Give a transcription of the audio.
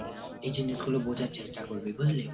এই জিনিসগুলো বোঝার চেষ্টা করবি বুঝলি?